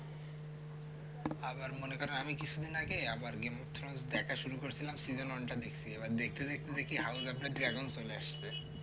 আবার মনে করেন কিছুদিন আগে আবার game of throne দেখা শুরু করেছিলাম season one টা দেখছি এবার দেখতে দেখতে দেখি হালকা করে dragon চলে আসছে